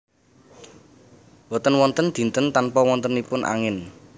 Boten wonten dinten tanpa wontenipun angin